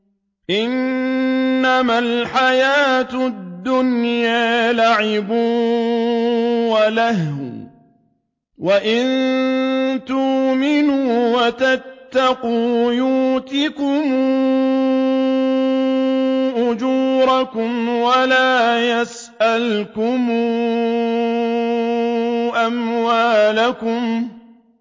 إِنَّمَا الْحَيَاةُ الدُّنْيَا لَعِبٌ وَلَهْوٌ ۚ وَإِن تُؤْمِنُوا وَتَتَّقُوا يُؤْتِكُمْ أُجُورَكُمْ وَلَا يَسْأَلْكُمْ أَمْوَالَكُمْ